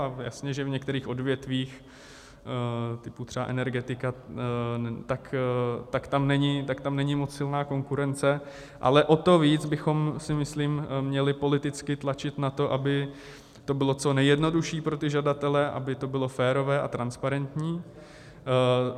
A jasně že v některých odvětvích typu třeba energetika, tak tam není moc silná konkurence, ale o to víc bychom si myslím měli politicky tlačit na to, aby to bylo co nejjednodušší pro ty žadatele, aby to bylo férové a transparentní.